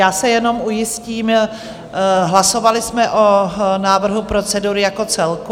Já se jenom ujistím, hlasovali jsme o návrhu procedury jako celku?